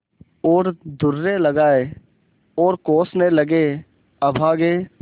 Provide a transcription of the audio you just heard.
और दुर्रे लगाये और कोसने लगेअभागे